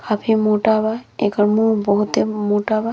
अभी मोटा बा। एकर मुँह बहुते मोटा बा।